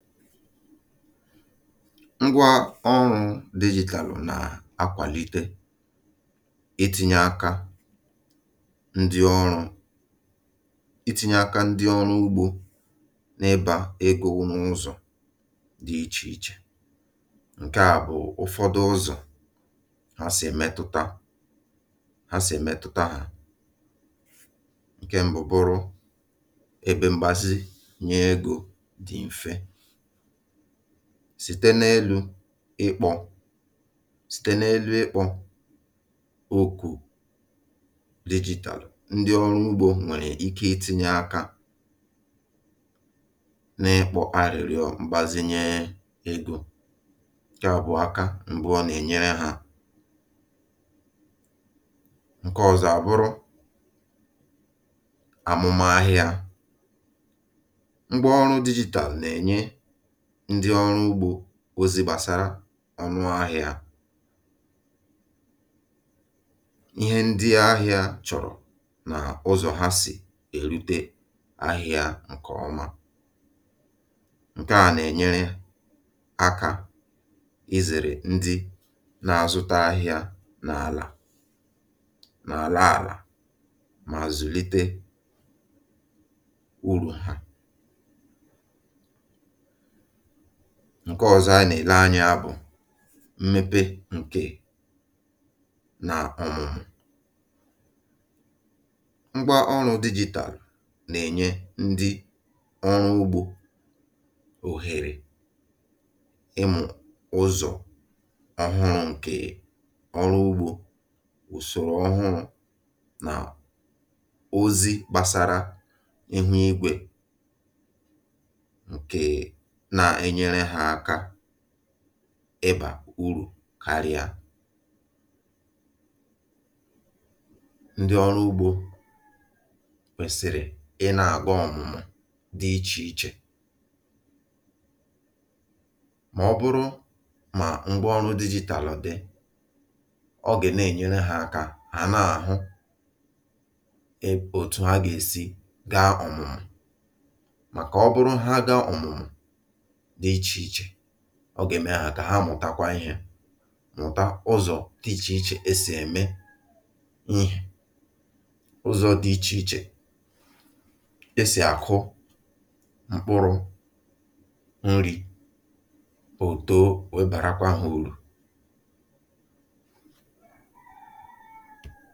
Ngwa ọrụ̇ digitalụ̀ nà akwàlite ịtinye aka ndị ọrụ̇ ịtinye aka ndị ọrụ̇ ugbo n’ebà egȯ n’ụzọ̀ dị ichè ichè. Ǹke à bụ̀ ụfọdụ ụzọ̀ ha sì emetụta ha ha sì emetụta hȧ: ǹke mbụ burụ ebe m̀gbasi nye egȯ dị mfẹ̇. Site n’elu̇ ịkpọ̀ site n’elu̇ ịkpọ̀ okù digitalù, ndị ọrụ ugbo nwèrè ike ịtinye akȧ na-ikpọ̇ arịrịọ m̀gbèzinye egȯ, ǹke à bụ aka mbu ọ nà-ènyere ha. Ǹke ọ̀zọ̀ àbụrụ àmụmahịa. Ngwa ọrụ̇ digitalù nà-ènye ndị ọrụ ugbȯ ozi gbàsara ọnụ ahịa, ihe ndị ahịa chọ̀rọ̀ n’ụzọ̀ ha sì èrute ahịa ǹkè ọma. Ǹke à nà-ènyere akȧ ịzèrè ndị na-azụta ahịa n’àlà n’àla àlà mà zùlite urù ha. Ǹke ọ̀zọ a nà-èle anya bụ̀ mmepe ǹkè nà ọ̀mumu. Ngwa ọrụ̇ digital nà-ènye ndị ọrụ ugbȯ òhèrè ịmụ̇ ụzọ̀ ọhụrụ̇ ǹkè ọrụ ugbȯ, ùsòrò ọhụrụ̇ nà ozi gbàsara ihu igwè. Nke na enyere ha aka ịbà urù karịa. Ndị ọrụ ugbo kwesịrị ị na-aga ọmụmụ dị iche iche ma ọ bụrụ ma ngwa ọrụ digital dị, ọ ga na-enyere ha aka ha na ahụ otu ha ga-esi ga ọmụmụ maka ọ bụrụ ha gaa ọmụmụ dị iche iche, ọ gà-ème kà ha mụ̀takwa ihe, mụ̀ta ụzọ̀ dị ichè ichè ha sì ème n’ihè, ụzọ̇ dị ichè ichè esì àkụ mkpụrụ̇ nrị̇ o too webàrakwa ha urù.